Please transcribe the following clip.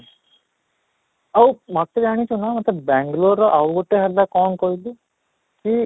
ଆଉ ମୋତେ ଜାଣିଛୁ ନା ମୋତେ ବାଙ୍ଗାଲୁରର ଆଉ ଗୋଟେ ହେଲା କ'ଣ କହିଲୁ ଉଁ